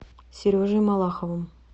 сережей малаховым